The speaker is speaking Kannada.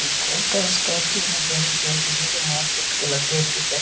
ಈ ಕೋಟರ್ಸ್ ಕಾಫಿ ಅನ್ನೋದ್ ಏನ್ ಇದೆ ಅಂದ್ರೆ ಈಗ ಮಾರ್ಕೆಟ್ ಗೆ ಲಗ್ಗೆ ಇಟ್ಟಿದೆ--